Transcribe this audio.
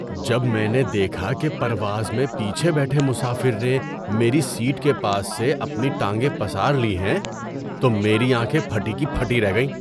جب میں نے دیکھا کہ پرواز میں پیچھے بیٹھے مسافر نے میری سیٹ کے پاس سے اپنی ٹانگیں پسار لی ہیں تو میری آنکھیں پھٹی کی پھٹی رہ گئیں۔